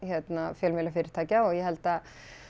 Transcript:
fjölmiðlafyrirtækja og ég held að